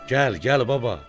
Gəl, gəl baba.